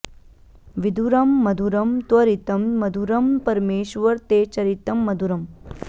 विधुरं मधुरं त्वरितं मधुरं परमेश्वर ते चरितं मधुरम्